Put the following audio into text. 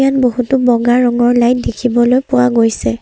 বহুতো বগা ৰঙৰ লাইট দেখিবলৈ পোৱা গৈছে।